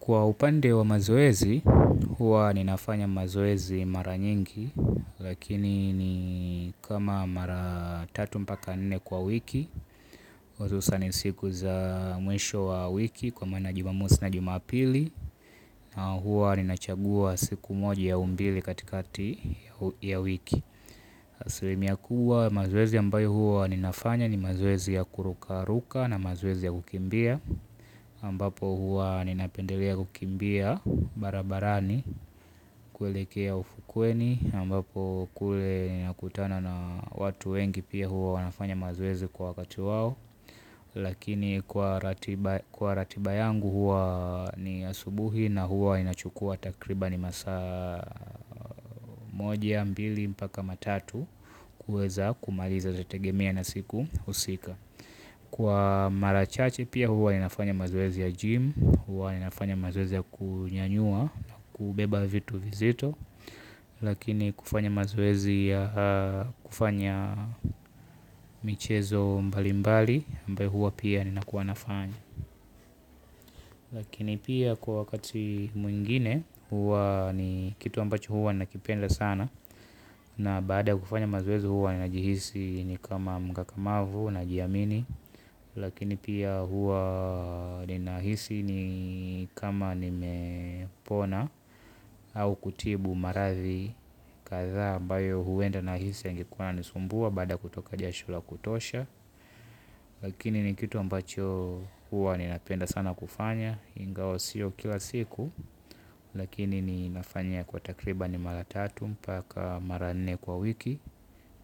Kwa upande wa mazoezi, huwa ninafanya mazoezi mara nyingi, lakini ni kama mara tatu mpaka nne kwa wiki, uzusa nisiku za mwisho wa wiki kwa maana juma mosi na juma pili, na huwa ninachagua siku moja au mbili katikati ya wiki. Asilimia kubwa ya mazoezi ambayo huwa ninafanya ni mazoezi ya kuruka ruka na mazoezi ya kukimbia, ambapo huwa ninapendelea kukimbia barabarani kuelekea ufukweni ambapo kule nakutana na watu wengi pia huwa wanafanya mazoezi kwa wakati wao. Lakini kwa ratiba yangu huwa ni asubuhi na huwa inachukua takribani masaa moja mbili mpaka matatu. Kuweza kumaliza zategemea na siku husika. Kwa marachache pia huwa inafanya mazoezi ya jim huwa inafanya mazoezi ya kunyanyua na kubeba vitu vizito. Lakini kufanya mazoezi ya kufanya michezo mbali mbali ambayo hua pia nina kuwanafanya. Lakini pia kwa wakati mwingine hua ni kitu ambacho hua nakipenda sana. Na baada ya kufanya mazoezi huwa ninajihisi ni kama mkakamavu najiamini. Lakini pia huwa ninahisi ni kama nimepona au kutibu marathi kathaa ambayo huwenda nahisi yangekuwa yananisumbua baada kutoka jasho la kutosha lakini ni kitu ambacho huwa ninapenda sana kufanya ingawa sio kila siku lakini ninafanya kwa takriban maratatu mpaka maranne kwa wiki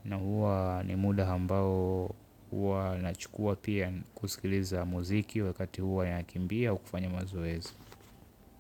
na huwa ni muda ambao huwa nachukua pia kusikiliza muziki wakati huwa ya kimbia au kufanya mazoezi.